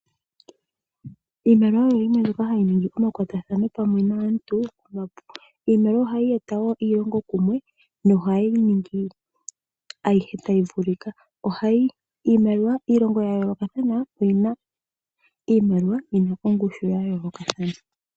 Iimaliwa oyimwe mbyoka hayi ningi omakwatathano pamwe naantu . Iimaliwa ohayi eta iilongo kumwe nohayi ningi ayihe tayi vulika. Iilongo ya yoolokathana oyina iimaliwa yina ongushu ya yoolokathana.